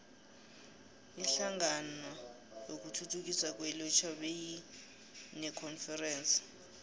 inhlangano yokuthuthukiswa kwelutjha beyinekonferense